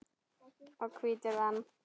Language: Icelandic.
og hvítur vann.